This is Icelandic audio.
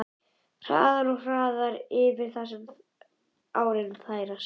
Hraðar og hraðar eftir því sem árin færast yfir.